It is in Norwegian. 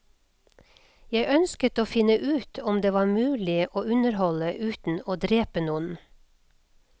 Jeg ønsket å finne ut om det var mulig å underholde uten å drepe noen.